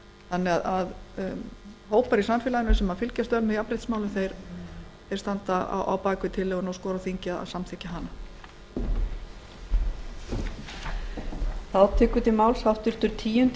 þannig að hópar í samfélaginu sem fylgjast vel með jafnréttismálum standa á bak við tillöguna og skora á þingið að samþykkja hana